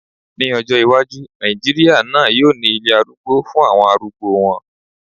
Ní ọjọ́ iwájú, Nàìjíríà náà yóò ní ilé arúgbó fún àwọn arúgbó wọn